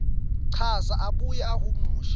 chaza abuye ahumushe